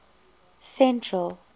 central